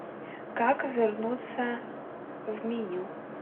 как вернуться в меню